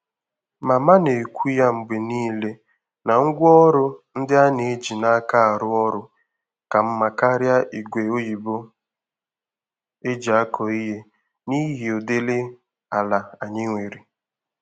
Mama na-ekwu ya mgbe nile na ngwaọrụ ndị a na-eji n'aka arụ ọrụ, ka mma karịa ígwè oyibo eji akọ ihe n'ihi ụdịrị ala anyị nwere.